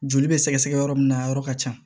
Joli bɛ sɛgɛsɛgɛ yɔrɔ min na a yɔrɔ ka ca